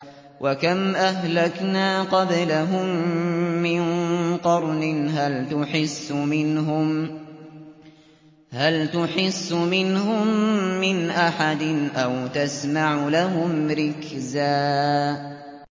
وَكَمْ أَهْلَكْنَا قَبْلَهُم مِّن قَرْنٍ هَلْ تُحِسُّ مِنْهُم مِّنْ أَحَدٍ أَوْ تَسْمَعُ لَهُمْ رِكْزًا